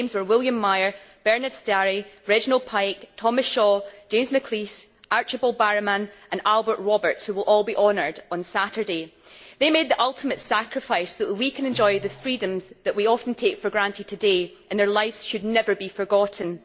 Their names were William Meyer, Bernard Starie, Reginald Pike, Thomas Shaw, James McLeish, Archibald Barrowman and Albert Roberts, who will all be honoured on Saturday. They made the ultimate sacrifice so that we can enjoy the freedoms that we often take for granted today, and their lives should never be forgotten.